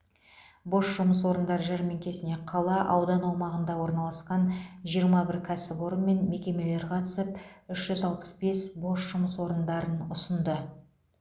бос жұмыс орындар жәрмеңкесіне қала аудан аумағында орналасқан жиырма бір кәсіпорын мен мекемелер қатысып үш жүз алпыс бес бос жұмыс орындарын ұсынды